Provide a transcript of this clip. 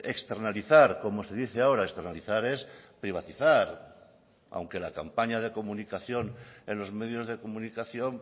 externalizar como se dice ahora externalizar es privatizar aunque la campaña de comunicación en los medios de comunicación